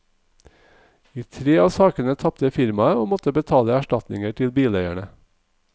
I tre av sakene tapte firmaet og måttet betale erstatninger til bileierne.